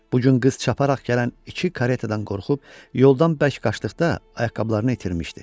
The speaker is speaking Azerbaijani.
Bu gün qız çaparaq gələn iki karetadan qorxub yoldan bərk qaçdıqda ayaqqabılarını itirmişdi.